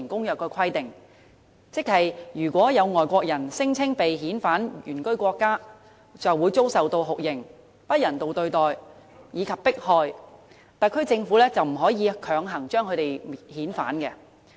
如果有外國人聲稱被遣返原居國家便會遭受酷刑、不人道對待，以及迫害，特區政府便不可以強行將他們遣返。